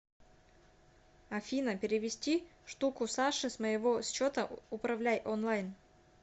афина перевести штуку саше с моего счета управляй онлайн